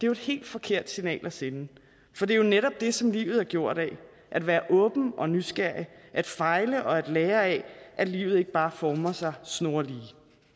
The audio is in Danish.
jo et helt forkert signal at sende for det er jo netop det som livet er gjort af at være åben og nysgerrig at fejle og at lære af at livet ikke bare former sig snorlige